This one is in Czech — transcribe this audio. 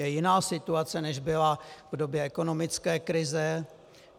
Je jiná situace, než byla v době ekonomické krize.